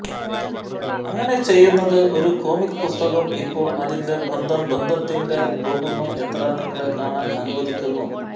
അങ്ങനെ ചെയ്യുന്നത് ഒരു കോമിക്ക് പുസ്തകം ഇപ്പോൾ അതിന്റെ ബന്ധം ബന്ധത്തിൽ പോകുന്നു എത്ര നിങ്ങളെ കാണാൻ അനുവദിക്കുന്നു